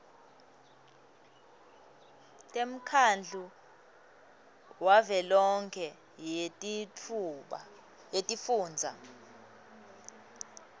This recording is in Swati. temkhandlu wavelonkhe wetifundza